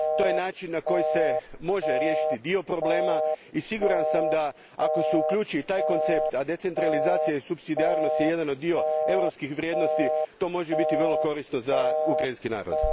To je način na koji se može riješiti dio problema i siguran sam da ako se uključi i taj koncept, a decentralizacija i supsidijarnost su dio europskih vrijednosti, to može biti vrlo korisno za ukrajinski narod.